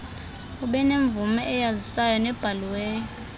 abenemvume eyazisayo nebhaliweyo